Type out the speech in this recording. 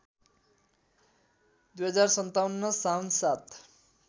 २०५७ साउन ७